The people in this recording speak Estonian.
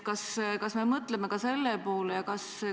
Kas me mõtleme ka selle poole?